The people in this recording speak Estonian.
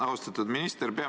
Austatud minister!